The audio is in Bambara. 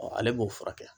ale b'o furakɛ